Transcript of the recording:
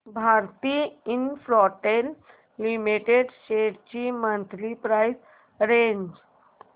Bharti Infratel limited shares ची monthly price range